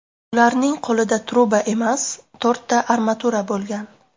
Ularning qo‘lida truba emas, to‘rtta armatura bo‘lgan.